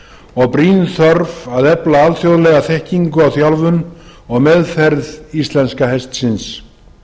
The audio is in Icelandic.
og brýn þörf að efla alþjóðlega þekkingu og þjálfun og meðferð íslenska hestsins